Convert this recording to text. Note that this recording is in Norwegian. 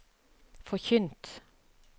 forkynt